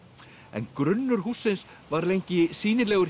en grunnur hússins var lengi sýnilegur